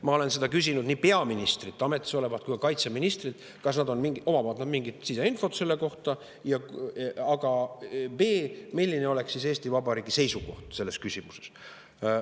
Ma olen küsinud nii peaministrilt, ametis olevalt, kui ka kaitseministrilt, kas nad omavad mingit siseinfot selle kohta ja milline oleks siis Eesti Vabariigi seisukoht selles küsimuses.